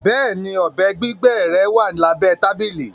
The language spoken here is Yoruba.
Bẹẹni, ọbẹ gbigbẹ rẹ wà lábẹ̀ tabili